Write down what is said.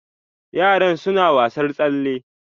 Yaran suna wasar tsalle.